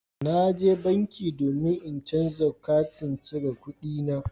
Na je banki domin in canza katin cire kuɗina